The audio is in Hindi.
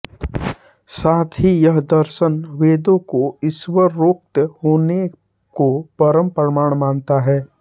साथ ही यह दर्शन वेदों को ईश्वरोक्त होने को परम प्रमाण मानता है